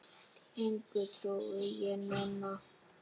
Engu trúi ég núna.